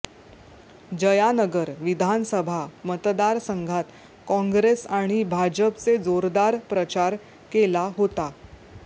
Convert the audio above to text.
जयानगर विधानसभा मतदार संघात काँग्रेस आणि भाजपचे जोरदार प्रचार केला होता